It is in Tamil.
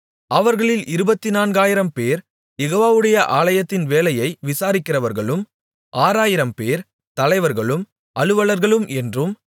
அவர்களில் இருபத்துநான்காயிரம்பேர் யெகோவாவுடைய ஆலயத்தின் வேலையை விசாரிக்கிறவர்களும் ஆறாயிரம்பேர் தலைவர்களும் அலுவலர்களும் என்றும்